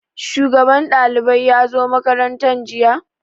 Shugaban ɗalibai ya zo makaranta jiya?